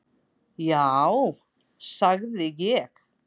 """Já, sagði ég."""